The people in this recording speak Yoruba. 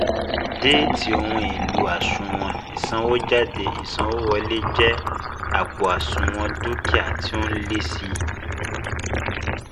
Déétì ohun èlò àṣùwọ̀n ìsànwójáde ìsanwówọlé jẹ́ àpò àṣùwọ̀n dúkìá tí ó n lé sí